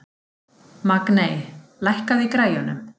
Magney, lækkaðu í græjunum.